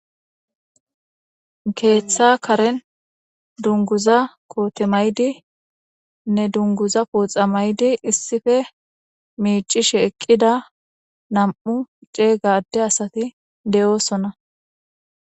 keeththa karen dunguza koote maydi nne dunguza pooxa maydi issife miicishe eqqida nam7u ceey gaadde asati de7oosona